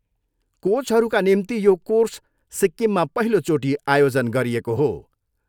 कोचहरूका निम्ति यो कोर्स सिक्किममा पहिलोचोटि आयोजन गरिएको हो।